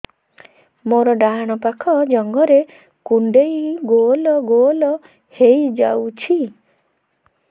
ମୋର ଡାହାଣ ପାଖ ଜଙ୍ଘରେ କୁଣ୍ଡେଇ ଗୋଲ ଗୋଲ ହେଇଯାଉଛି